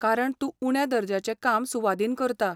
कारण तूं उण्या दर्ज्याचें काम सुवादीन करता.